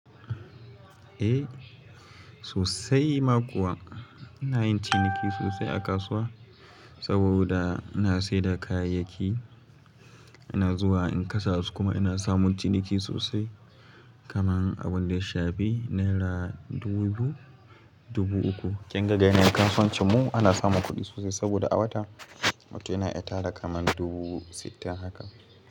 Eh sosai ma kuwa. Ina yin ciniki sosai a kasuwa saboda ina saida kayayyaki, ina zuwa in kasa su kuma ina samun ciniki sosai kaman abun da ya shafi naira dubu biyu, dubu uku. Kin ga ga yanayin kasuwancin mu ana samun kuɗi sosai saboda a wata, mutum yana iya tara kaman dubu sittin haka.